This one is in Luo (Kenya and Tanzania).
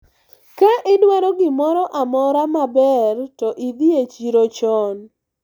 ka idwaro gimoro amora maber to idhi e chiro chon